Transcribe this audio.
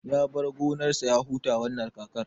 Ya bar gonar sa ya huta wannan kakar